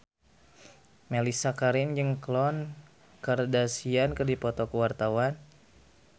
Mellisa Karim jeung Khloe Kardashian keur dipoto ku wartawan